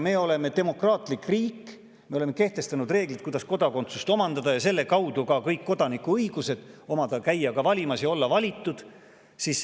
Meil on demokraatlik riik, me oleme kehtestanud reeglid, kuidas omandada kodakondsust ja selle kaudu ka kõik kodanikuõigused, käia valimas ja olla valitud.